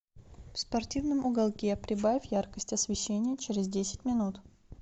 в спортивном уголке прибавь яркость освещения через десять минут